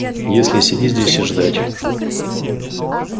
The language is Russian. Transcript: если сидеть здесь и ждать